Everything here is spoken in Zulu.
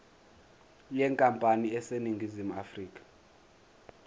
yenkampani eseningizimu afrika